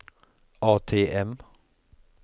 ATM